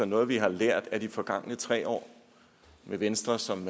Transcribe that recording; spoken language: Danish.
noget vi har lært af de forgangne tre år med venstre som